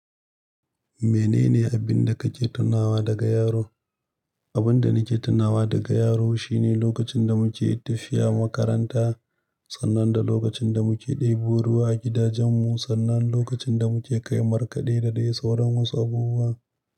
Menene abin da kake tunawa daga yaro? Abun da nake tunawa daga yaro shine lokacin da muke tafiya makaranta, sannan da lokacin da muke ɗebo ruwa a gidajen mu, sannan lokacin da muke kai markaɗe da dai sauran wasu abubuwa.